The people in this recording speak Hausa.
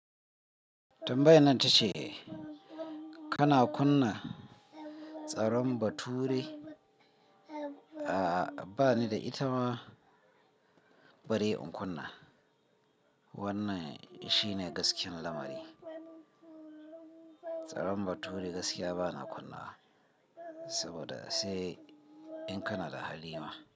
Tambayan na tace kana kunna tsaron bature? A'a bani da itama bari in kunna. Wannan shine gaskiyar lamari. Tsaron bature gaskiya bana kunna wa saboda sai in kana da hali ma.